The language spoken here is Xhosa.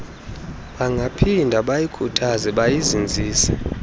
bangaphinda bayikhuthaze bayizinzise